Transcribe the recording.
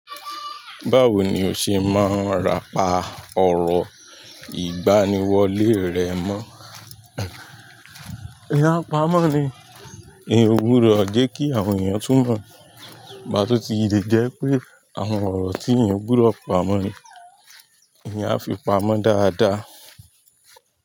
Báwo ni o ṣe máa ń ràpá ọ̀rọ̀ ìgbaniwọlé rẹ mọ́? Eeyan a pamọ́ ni, eeyan gbudọ jẹ́ kí àwọn èèyàn túmọ̀. Igbá tí ó ti le jẹ́ pé àwọn ọ̀rọ̀ tí eyan ń gbudọ pamọ́ ni, eeyan a fi pamọ́ dáadáa.